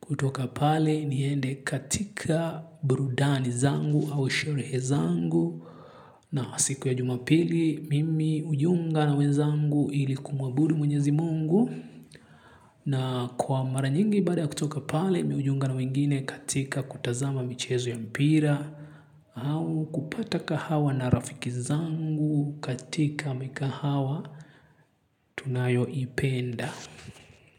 Kutoka pale niende katika burudani zangu au sherehe zangu. Na siku ya jumapili mimi hujiunga na wezangu ili kumwabudu mwenyezi mungu. Na kwa mara nyingi baada kutoka pale mimi hujiunga na wengine katika kutazama michezo ya mpira. Au kupata kahawa na rafiki zangu katika mikahawa tunayoipenda.